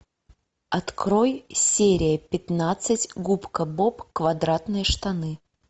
открой серия пятнадцать губка боб квадратные штаны